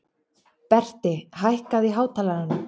Berti, hækkaðu í hátalaranum.